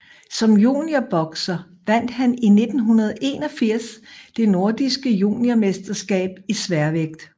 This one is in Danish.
Som juniorbokser vandt han i 1981 det nordiske junior mesterskab i sværvægt